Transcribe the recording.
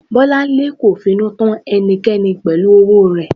Bolanle kò finú tọ́ ẹnìkankan pẹ̀lú owó rẹ̀.